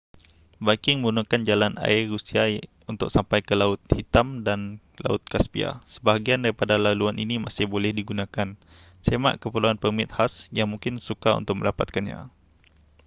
viking menggunakan jalan air rusia untuk sampai ke laut hitam dan laut kaspia sebahagian daripada laluan ini masih boleh digunakan semak keperluan permit khas yang mungkin sukar untuk mendapatkannya